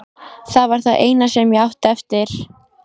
Það var það eina sem ég átti eftir.